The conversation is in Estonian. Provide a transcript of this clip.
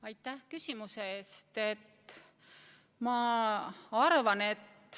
Aitäh küsimuse eest!